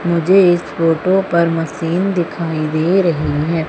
मुझे इस फोटो पर मशीन दिखाई दे रही है।